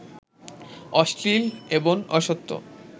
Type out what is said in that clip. অশ্লীল এবং অসত্য